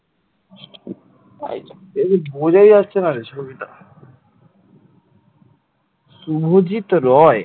Subhajit Roy